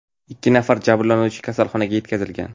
Ikki nafar jabrlanuvchi kasalxonaga yetkazilgan.